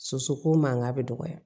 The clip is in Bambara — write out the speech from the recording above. Sosoko mankan bɛ dɔgɔya